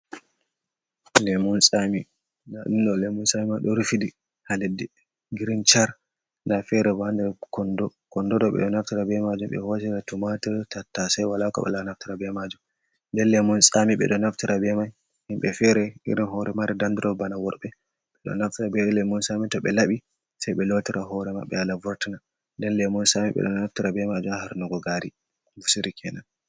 Lemun tsami, nda ɗum lemun tsami mai ɗo rufiti ha leddi girin char nda ferebo nder kondo. Kondoɗo be ɗo naftira be majum ɓe hoosira tumatar, tattasei wala ko ɓe woola naftira be majum. Nden lemun tsami ɓe ɗo naftira be mai himɓe fere irin hoore mari dandurop bana worɓe, ɓeɗo naftira lemun tsami toɓe labi sei ɓe lootira hoore mabɓe hala vortina. Nden lemun tsami ɓe ɗo naftira be majum ha harnugo gari nbusiri kenan.